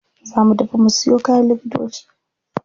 Za mu tafi mu siyo kayan likitoci.